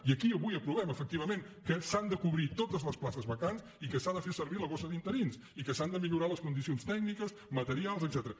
i aquí avui aprovem efectivament que s’han de cobrir totes les places vacants i que s’ha de fer servir la borsa d’interins i que s’han de millorar les condicions tècniques materials etcètera